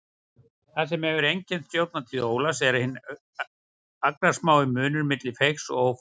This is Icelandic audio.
Það sem hefur einkennt stjórnartíð Ólafs er hinn agnarsmái munur milli feigs og ófeigs.